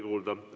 Oli kuulda.